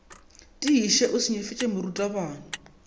tiiše o se nyefiše morutabana